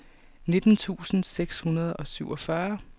nitten tusind seks hundrede og syvogfyrre